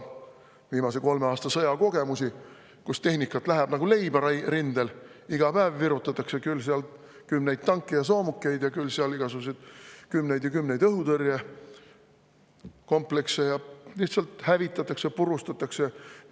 Viimase kolme aasta sõjakogemuste, et tehnikat läheb rindel nagu leiba: iga päev sinna kümnete kaupa küll tanke ja soomukeid, küll igasuguseid õhutõrjekomplekse, neid lihtsalt hävitatakse, purustatakse.